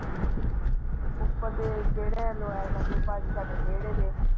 ਉੱਪਰ ਦੇ ਜਿਨ੍ਹਾਂ ਨੇ ਲਗਵਾਇਆ ਉਹ ਸਾਡੇ ਵੇੜੇ ਦੇ।